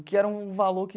O que era um valor que...